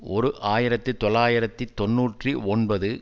ஓர் ஆயிரத்தி தொள்ளாயிரத்தி தொன்னூற்றி ஒன்பது